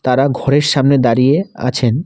তারা ঘরের সামনে দাঁড়িয়ে আছেন।